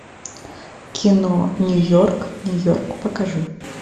кино нью йорк нью йорк покажи